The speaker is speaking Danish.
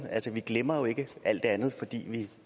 vi glemmer jo ikke alt det andet fordi vi